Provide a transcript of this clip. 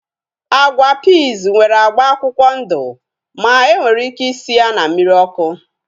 Agwa piiz nwere agba akwụkwọ ndụ ma enwere ike isi ya na mmiri ọkụ